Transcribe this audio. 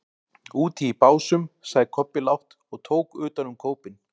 Úti í Básum, sagði Kobbi lágt og tók utan um kópinn.